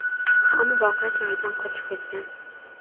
ham voqea joyidan qochib ketgan.